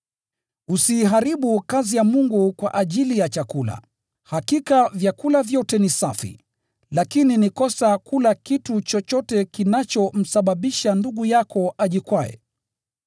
Usiiharibu kazi ya Mungu kwa ajili ya chakula. Hakika vyakula vyote ni safi, lakini ni kosa kula kitu chochote kinachomsababisha ndugu yako ajikwae.